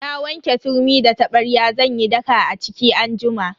Na wanke turmi da tabarya zan yi daka a ciki anjima.